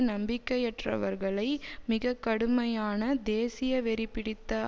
நம்பிக்கையற்றவர்களை மிக கடுமையான தேசியவெறிபிடித்த